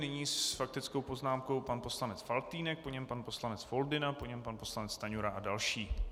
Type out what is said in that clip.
Nyní s faktickou poznámkou pan poslanec Faltýnek, po něm pan poslanec Foldyna, po něm pan poslanec Stanjura a další.